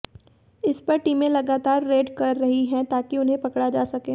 इस पर टीमें लगातार रेड कर रही है ताकि उन्हें पकड़ा जा सके